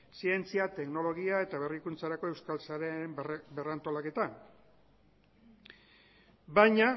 zientzia teknologia eta berrikuntzarako euskal sareen berrantolaketa baina